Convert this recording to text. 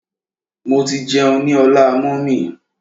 Mo ti jẹun ní ọlá mummy.